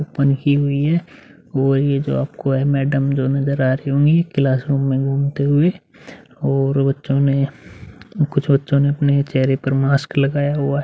वो ही जो आपको मैडम जो नजर आ रही होंगी क्लासरूम मे घूमते हुए और बच्चों ने कुछ बच्चों ने अपने चेहरे पर मास्क लगाया हुआ है।